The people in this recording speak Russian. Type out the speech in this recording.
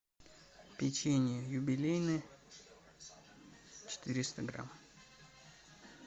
печенье юбилейное четыреста грамм